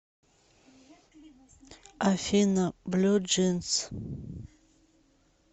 афина блю джинс